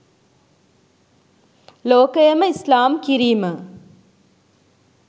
ලෝකයම ඉස්ලාම් කිරීම